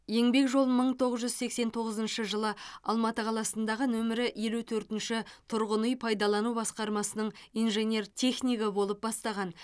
еңбек жолын мың тоғыз жүз сексен тоғызыншы жылы алматы қаласындағы нөмірі елу төртінші тұрғын үй пайдалану басқармасының инженер технигі болып бастаған